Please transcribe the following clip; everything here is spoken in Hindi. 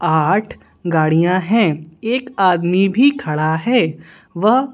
आठगाड़ियां हैं एक आदमी भी खड़ा है वह--